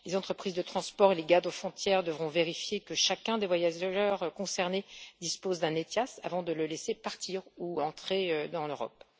Les entreprises de transport et les garde frontières devront vérifier que chacun des voyageurs concernés dispose d'un ETIAS avant de le laisser partir ou entrer dans l'Europe.